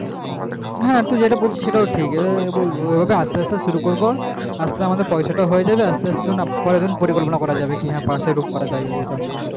হ্যাঁ তুই যেটা বলছিস সেটাই ঠিক ওই ভাবে আস্তে আস্তে শুরু করবো আমাদের তখন পয়সা তাও হয়ে যাবে পরে তখন পরিকল্পনা করা যাবে হ্যাঁ পাশে room করা যাবে না